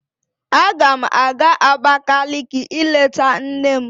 Agam aga Abakaliki ileta nna m.